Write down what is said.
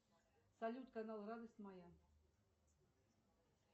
салют канал радость моя